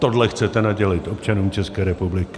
Tohle chcete nadělit občanům České republiky.